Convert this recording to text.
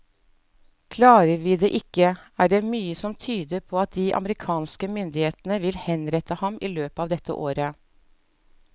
Klarer vi det ikke, er det mye som tyder på at de amerikanske myndighetene vil henrette ham i løpet av dette året.